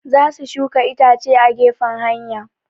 Za su shuka itace a gefen hanya